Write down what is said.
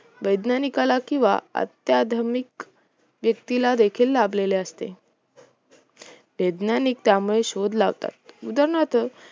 वैज्ञानिकाला किंवा आध्यात्मिक व्यक्तीला देखील लाभलेले असते वैज्ञानिक त्यामुळे शोध लावतात उदाहरणार्थ